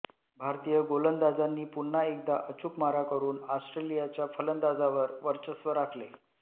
भारतीय गोलंदाजांनी पुन्हा एकदा अचूक मारा करून ऑस्ट्रेलियाच्या फलंदाजांवर वर्चस्व राखले